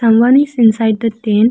Someone is inside the tent.